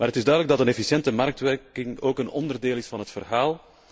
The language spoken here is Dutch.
Het is duidelijk dat een efficiënte marktwerking ook een onderdeel is van het verhaal.